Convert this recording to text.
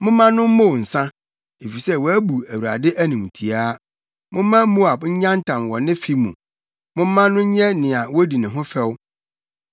“Momma no mmow nsa, efisɛ wabu Awurade animtiaa. Momma Moab nyantam wɔ ne fe mu; momma no nyɛ nea wodi ne ho fɛw.